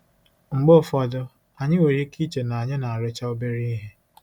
Mgbe ụfọdụ, anyị nwere ike iche na anyị na-arụcha obere ihe.